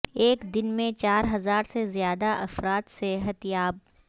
ایک دن میں چار ہزار سے زیادہ افراد صحت یاب